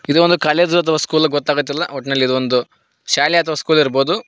ಇದು ಒಂದು ಕಾಲೇಜು ಅಥವಾ ಸ್ಕೂಲು ಗೊತ್ತ ಆಗಾತಿಲ್ಲ ಒಟ್ಟನಲ್ಲಿ ಇದು ಒಂದು ಶಾಲೆ ಅಥವಾ ಸ್ಕೂಲ್ ಇರಬೊದು.